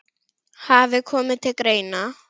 hafi komið til greina.